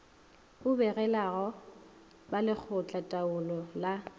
o begelago ba lekgotlataolo la